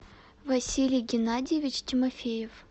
василий геннадьевич тимофеев